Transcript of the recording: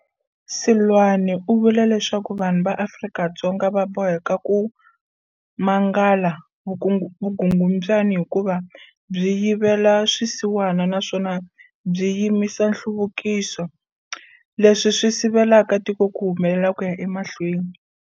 Seloane u vula leswaku vanhu va Afrika-Dzonga va boheka ku mangala vukungundzwana hikuva byi yivela swisiwana naswona byi yimisa nhluvukiso, leswi swi sivelaka tiko ku humelela ku ya emahlweni.